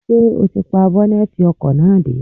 Ṣé ó ti pa bọ́nẹ́tì ọkọ̀ náà dé?